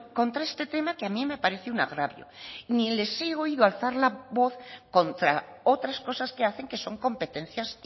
contra este tema que a mí me parece un agravio ni les he oído alzar la voz contra otras cosas que hacen que son competencias